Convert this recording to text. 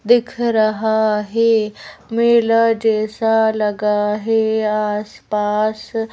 दिख रहा है मेला जैसा लगा है आसपास --